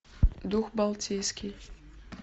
дух балтийский